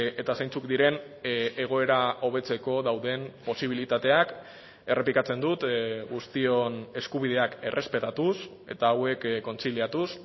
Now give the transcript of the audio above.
eta zeintzuk diren egoera hobetzeko dauden posibilitateak errepikatzen dut guztion eskubideak errespetatuz eta hauek kontziliatuz